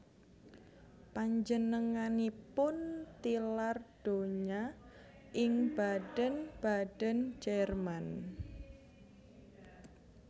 Panjenenganipun tilar donya ing Baden Baden Jerman